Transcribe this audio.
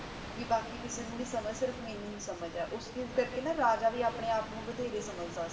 ਭੀ ਬਾਕੀ ਕਿਸੇ ਨੂ ਨਾਈ ਸਮਝ ਸਿਰਫ ਮੇਨੂ ਈ ਸਮਝ ਆਯ ਓਸ ਕਰ ਕੇ ਨਾ ਰਾਜਾ ਵੀ ਅਪਨੇ ਆਪ ਨੂ ਬਥੇਰੇ ਸਮਝ